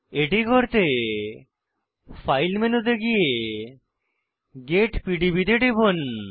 এটি করতে ফাইল মেনুতে গিয়ে গেট পিডিবি তে টিপুন